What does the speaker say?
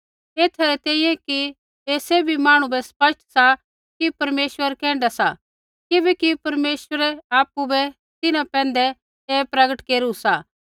एथा री तैंईंयैं कि ऐ सैभी मांहणु बै स्पष्ट सा कि परमेश्वर कैण्ढा सा किबैकि परमेश्वरै आपु बै तिन्हां पैंधै ऐ प्रगट केरू सा